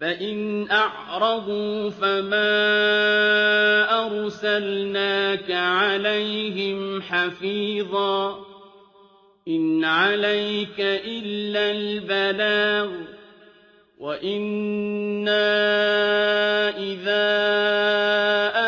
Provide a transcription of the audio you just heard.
فَإِنْ أَعْرَضُوا فَمَا أَرْسَلْنَاكَ عَلَيْهِمْ حَفِيظًا ۖ إِنْ عَلَيْكَ إِلَّا الْبَلَاغُ ۗ وَإِنَّا إِذَا